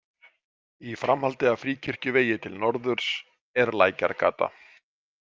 Í framhaldi af Fríkirkjuvegi til norðurs er Lækjargata.